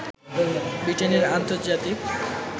ব্রিটেনের আন্তর্জাতিক